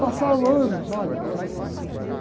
Passaram anos, olha, olha que a minha mãe.